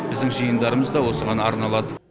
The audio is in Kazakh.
біздің жиындарымыз да осыған арналады